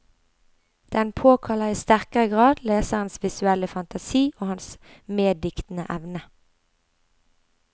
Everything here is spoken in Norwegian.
Den påkaller i sterkere grad leserens visuelle fantasi og hans meddiktende evne.